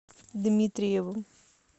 дмитриевым